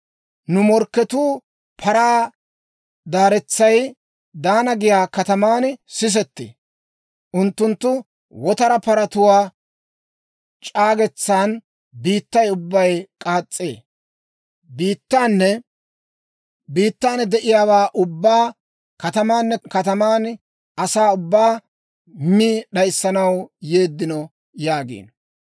Nu morkketuu paraa daaretsay Daana giyaa kataman sisettee; unttunttu wotara paratuwaa c'aagetsan biittay ubbay k'aas's'ee. Biittaanne biittan de'iyaawaa ubbaa, katamaanne kataman asaa ubbaa mi d'ayissanaw yeeddino» yaagiino.